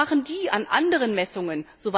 Was machen die an anderen Messungen?